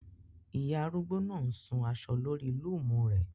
Iyà arúgbó náà ń ṣun aṣọ lọ́rí lúùmu rẹ